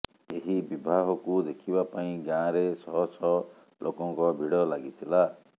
ଏହି ବିବାହକୁ ଦେଖିବା ପାଇଁ ଗାଁରେ ଶହ ଶହ ଲୋକଙ୍କ ଭିଡ଼ ଲାଗିଥିଲା